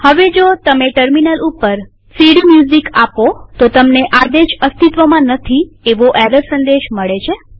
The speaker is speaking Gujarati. હવે જો તમે ટર્મિનલ ઉપર સીડીમ્યુઝિક આપો તો તમને આદેશ અસ્તિત્વમાં નથી એવો એરર સંદેશ મળે છે